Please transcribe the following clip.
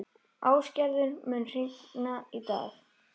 Ástgerður, mun rigna í dag?